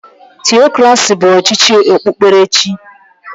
Theokraci bụ ọchịchị okpukperechi.